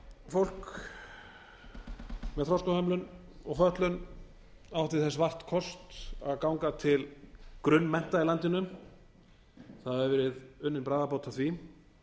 fólk með þroskahömlun og fötlun átti þess vart kost að ganga til grunnmennta í landinu það hefur verið unnin bragarbót á því